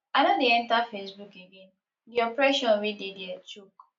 i no dey enter facebook again the oppression wey dey dia choke